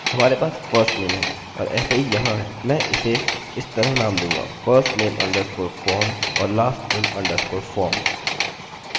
हम वहाँ से चुनेंगे जहाँ firstname इसके बराबर दर्ज किया गया है और lastname जिसे हमने lastname form के बराबर दर्ज किया है